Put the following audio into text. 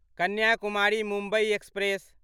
Kanyakumari Mumbai express